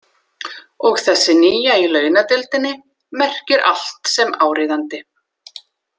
Og þessi nýja í launadeildinni merkir allt sem áríðandi.